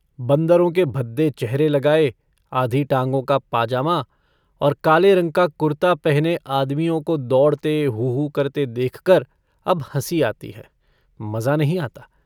बन्दरों के भद्दे चेहरे लगाए, आधी टांगों का पाजामा और काले रंग का कुरता पहने आदमियों को दौड़ते, हू-हू करते देखकर अब हँसी आती है, मज़ा नहीं आता।